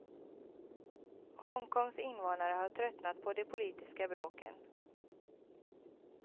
Hongkongs invånare har tröttnat på de politiska bråken.